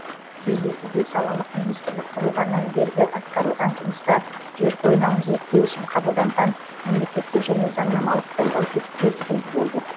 кездесуде салалық министрлік құрылғаннан бергі атқарылған жұмыстар жер қойнауын зерттеу үшін қабылданған мемлекеттік және заңнамалық қолдау тетіктері сөз болды